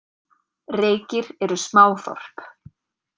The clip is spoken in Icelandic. Reykir eru smáþorp.